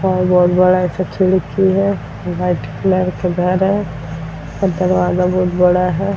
और बहुत बड़ा इसका खिड़की है। व्हाइट कलर का घर है और दरवाजा बहुत बड़ा है।